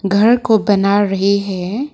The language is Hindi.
घर को बना रही है।